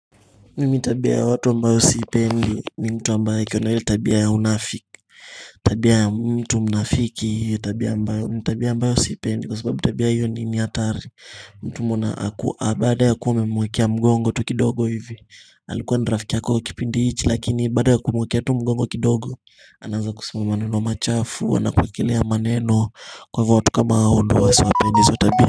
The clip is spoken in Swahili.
Mimi tabia ya watu ambayo siipendi ni mtu ambaye akiwa na ile tabia ya unafiki Tabia ya mtu mnafiki tabia ambayo ni tabia ambao siipendi kwa sababu tabia hiyo ni ni hatari mtu muna akua baada ya kuwa umemwekea mgongo tu kidogo hivi alikuwa ni rafiki yako kipindi hichi lakini baada ya kumwekea tu mgongo kidogo anaanza kusimema maneno machafu anakuwekelea maneno kwa ivo watu kama hao ndio huwa siwapendi izo tabia.